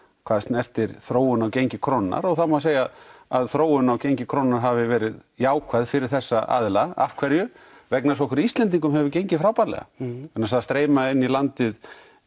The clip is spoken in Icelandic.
hvað snertir þróun á gengi krónunnar og það má segja að þróun á gengi krónunnar hafi verið jákvæð fyrir þessa aðila af hverju vegna þess að okkur Íslendingum hefur gengið frábærlega vegna þess að það streyma inn í landið